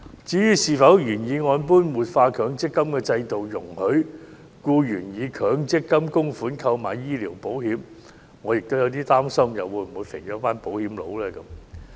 至於是否應如原議案建議般活化強積金制度，容許僱員以強積金供款購買醫療保險，我亦有點擔心會否肥了"保險佬"。